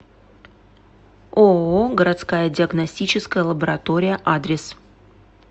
ооо городская диагностическая лаборатория адрес